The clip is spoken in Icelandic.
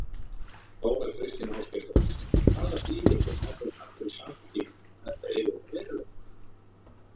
Þóra Kristín Ásgeirsdóttir: Hvaða þýðingu hefði það fyrir Samfylkinguna ef að þetta yrði að veruleika?